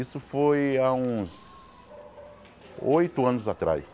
Isso foi há uns oito anos atrás.